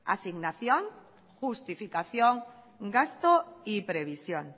asignación justificación gasto y previsión